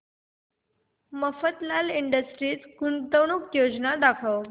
Mafatlal industries गुंतवणूक योजना दाखव